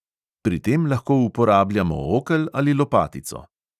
Pri tem lahko uporabljamo okel ali lopatico.